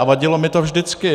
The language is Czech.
A vadilo mi to vždycky.